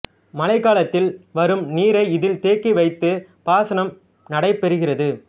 மழைக்காலத்தில் வரும் நீரை இதில் தேக்கி வைத்து பாசனம் நடைபெறுகிறது